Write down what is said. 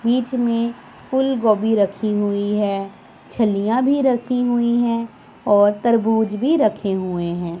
बीच में फूलगोभी रखी हुई है छलिया भी रखी हुई हैं और तरबूज भी रखे हुए हैं।